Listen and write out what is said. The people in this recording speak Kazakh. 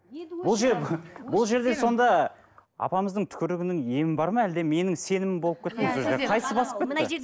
енді бұл бұл жерде сонда апамыздың түкірігінің емі бар ма әлде менің сенімім болып кетті ме сол жерде қайсы басып кетті